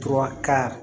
To ka